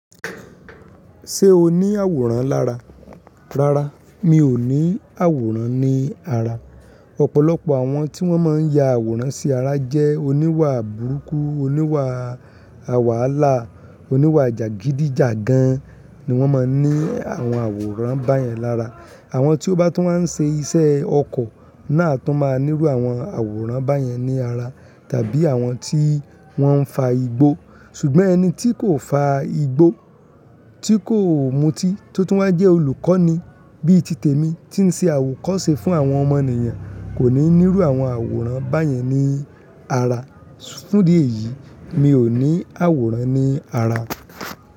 Ṣé o ní àwòrán lára? Rárá, mi ò ní àwòrán ní ara. Ọ̀pọ̀lọpọ̀ àwọn tí wọ́n máa ń ya àwòrán sí ara jẹ́ oníwà burúkú, oníwà wahala, oníwà jàgídíjàgan ni wọ́n máa ń ní àwọn àwòrán báyẹn lára. Àwọn tí ó bá tún máa ń ṣe iṣẹ́ ọkọ̀ náà tún máa ń nírú àwọn àwòrán báyẹn ní ara, tàbí àwọn tí wọ́n ń fa igbó. Ṣùgbọ́n ẹni tí kò fa igbó, tí kò mutí, tó tún máa jẹ́ olùkọ́ni bíi ti tèmi tí ń ṣe àwòkọ́ṣe fún àwọn ọmọnìyàn kò ní írú àwọn àwòrán báyẹn ní ara. Fún dí èyí, mi ò ní àwòrán ní ara.